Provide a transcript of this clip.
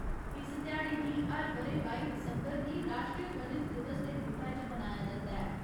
इस ध्याड़े गी हर ब'रे बाई दिसंबर गी राश्ट्रीय गणित दिवस दे रूपै च मनाया जंदा ऐ।